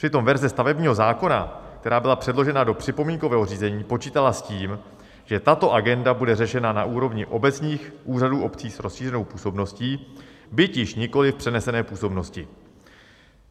Přitom verze stavebního zákona, která byla předložena do připomínkového řízení, počítala s tím, že tato agenda bude řešena na úrovni obecních úřadů obcí s rozšířenou působností, byť již nikoliv v přenesené působnosti.